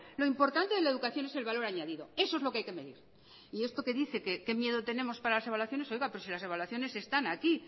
lo importante de la educación es el valor añadido eso es lo que hay que medir y esto que dice que qué miedo tenemos para las evaluaciones pero si las evaluaciones están aquí